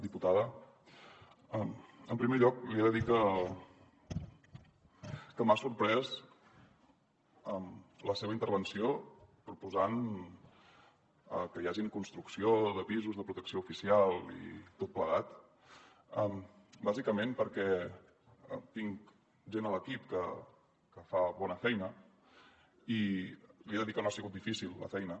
diputada en primer lloc li he de dir que m’ha sorprès la seva intervenció proposant que hi hagi construcció de pisos de protecció oficial i tot plegat bàsicament perquè tinc gent a l’equip que fa bona feina i li he de dir que no ha sigut difícil la feina